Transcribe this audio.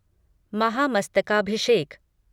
महामस्तकाभिषेक